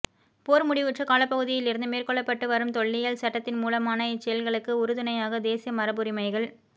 போர் முடிவுற்ற காலப்பகுதியிலிருந்து மேற்கொள்ளப்பட்டு வரும் தொல்லியல் சட்டத்தின் மூலமான இச்செயல்களுக்கு உறுதுணையாக தேசிய மரபுரிமைகள்